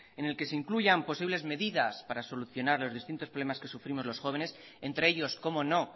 en el que se incluyan posibles medidas para solucionar los distintos problemas que sufrimos los jóvenes entre ellos cómo no